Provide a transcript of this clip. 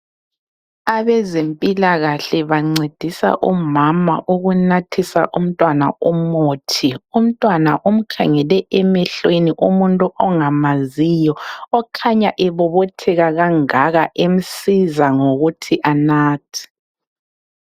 Abezempilakahle bancedisa umama ukunathisa umntwana umuthi. Umntwana umkhangele emehlweni umuntu angamaziyo okhanya ebobotheka kangaka emsiza ngokuthi anathe.